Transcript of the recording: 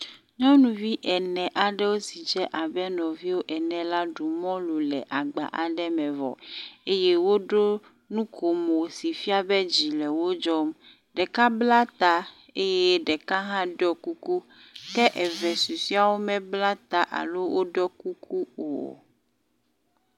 Nyɔnuvi ene aɖewo si dze abe nɔviwo ene la ɖu mɔlu le agba aɖe me vɔ eye woɖo nukomo si fia be dzi le wo dzɔm. Ɖeka bla ta eye ɖeka hã ɖɔ kuku ke eve susua wome bla ta alo ɖɔ kuku o.